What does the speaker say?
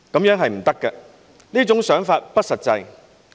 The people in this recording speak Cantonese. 這是不行的，這種想法不實際。